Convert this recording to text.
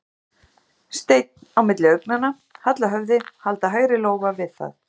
Stein á milli augnanna, halla höfði, halda hægri lófa við það.